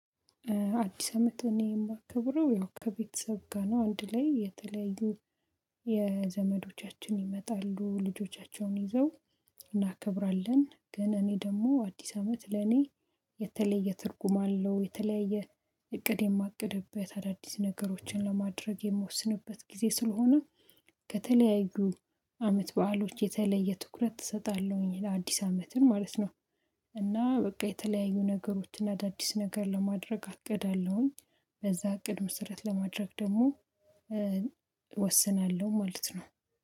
አዲስ አመት እኔ የማከብረው ያው ከቤተሰብ ጋር ነው። አንድ ላይ የተለያዩ ዘመዶቻችን ይመጣሉ ልጆቻቸውን ይዘው እናከብራለን ግን እኔ ደግሞ አዲስ አመት ለኔ የተለየ ትርጉም አለው። የተለያየ እቅድ የማቅድበት አዳዲስ ነገሮችን ለማድረግ የምወስንበት ጊዜ ስለሆ፣ ከተለያዩ አመት በዓሎች የተለየ ትኩረት እሰጣለሁኝ አዲስ አመትን ማለት ነው። እና በቃ የተለያዩ ነገሮችን አዳዲስ ነገር ለማድረግ አቅዳለሁኝ፤ በዛ እቅድ መሰረት ለማድረግ ደግሞ እወስናለሁ ማለት ነው።